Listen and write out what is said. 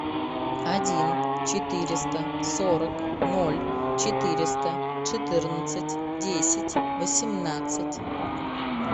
один четыреста сорок ноль четыреста четырнадцать десять восемнадцать